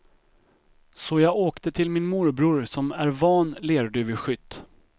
Så jag åkte till min morbror som är van lerduveskytt.